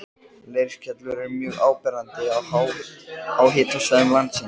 Leirskellur eru mjög áberandi á háhitasvæðum landsins.